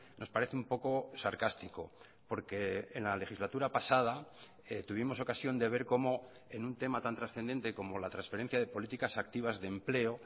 nos parece un poco sarcástico porque en la legislatura pasada tuvimos ocasión de ver cómo en un tema tan trascendente como la transferencia de políticas activas de empleo